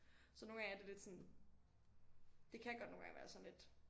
Så nogle gange er det lidt sådan det kan godt nogle gange være sådan lidt